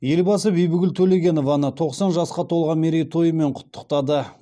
елбасы бибігүл төлегенованы тоқсан жасқа толған мерейтойымен құттықтады